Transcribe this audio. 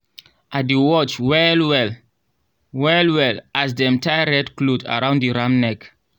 i dey watch well-well well-well as dem tie red cloth around the ram neck.